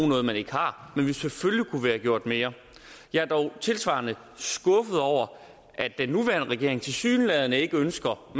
noget man ikke har men selvfølgelig kunne gjort mere jeg er dog tilsvarende skuffet over at den nuværende regering tilsyneladende ikke ønsker at